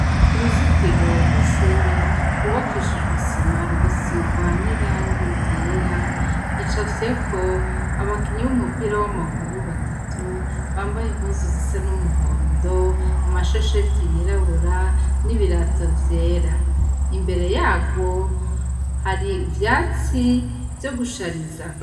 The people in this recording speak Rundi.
Ku ruzitiro rw'ishure rwubakishije isima rugasigwa n'irangi ryera, hacafyeko abakinyi b'umupira w'amaguru batatu bambaye impuzu zisa n'umuhondo, amashesheti yirabura n'ibirato vyera. Imbere yarwo, hari ivyatsi vyo gushariza.